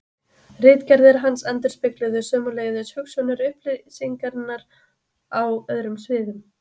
Ritgerðir hans endurspegluðu sömuleiðis hugsjónir upplýsingarinnar á öðrum sviðum.